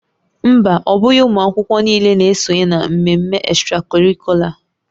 Mba, ọ bụghị ụmụ akwụkwọ niile na-esonye na mmemme extracurricular